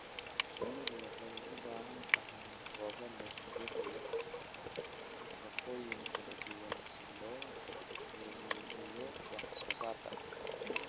Shinnidu waxay u baahan tahay goobo leh dhir leh nafaqooyin kala duwan si loo horumariyo wax soo saarka.